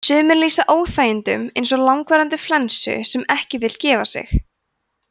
sumir lýsa óþægindunum eins og langvarandi flensu sem ekki vill gefa sig